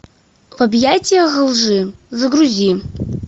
в объятиях лжи загрузи